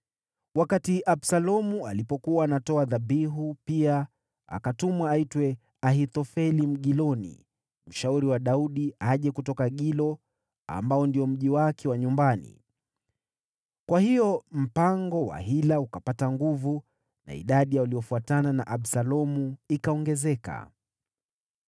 Wakati Absalomu alipokuwa anatoa dhabihu, pia akatuma aitwe Ahithofeli, Mgiloni, mshauri wa Daudi, aje kutoka Gilo, ambao ndio mji wake wa nyumbani. Kwa hiyo mpango wa hila ukapata nguvu, na idadi ya waliofuatana na Absalomu ikaongezeka.